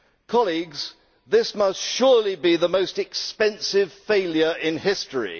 Colleagues, this must surely be the most expensive failure in history.